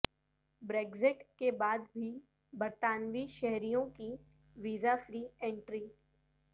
Brexit کے بعد بھی برطانوی شہریوں کی ویزا فری انٹری